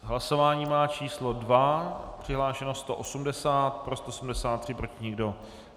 Hlasování má číslo 2, přihlášeno 180, pro 173, proti nikdo.